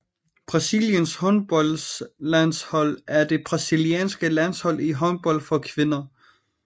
Brasiliens håndboldlandshold er det brasilianske landshold i håndbold for kvinder